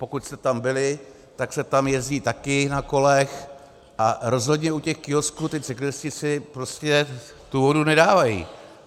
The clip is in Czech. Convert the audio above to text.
Pokud jste tam byli, tak se tam jezdí také na kolech, a rozhodně u těch kiosků ti cyklisté si prostě tu vodu nedávají.